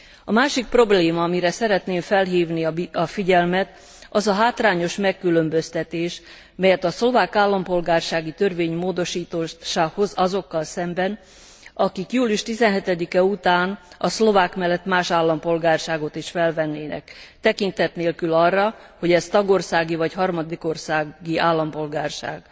A másik probléma, amire szeretném felhívni a figyelmet, az a hátrányos megkülönböztetés, melyet a szlovák állampolgársági törvény módosítása hoz azokkal szemben, akik július 17 e után a szlovák mellett más állampolgárságot is felvennének, tekintet nélkül arra, hogy ez tagországi vagy harmadik országi állampolgárság.